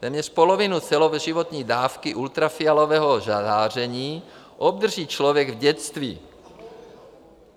Téměř polovinu celoživotní dávky ultrafialového záření obdrží člověk v dětství.